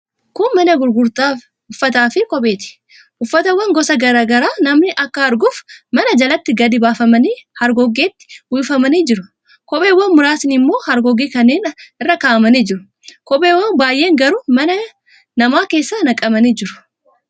Kun mana gurgurtaa uffataafi kopheeti. Uffatawwan gosa garaa garaa namni akka arguuf mana jalatti gadi baafamanii hargoggeetti uffifamanii jiru. Kopheewwan muraasni immoo hargoggee kanneen irra kaa'amanii jiru. Kopheen baay'een garuu mana keessa naqamanii jiru.